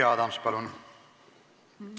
Jüri Adams, palun!